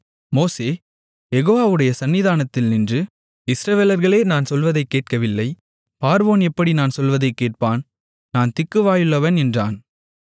மோசே யெகோவாவுடைய சந்நிதானத்தில் நின்று இஸ்ரவேலர்களே நான் சொல்வதைக் கேட்கவில்லை பார்வோன் எப்படி நான் சொல்வதைக் கேட்பான் நான் திக்கு வாயுள்ளவன் என்றான்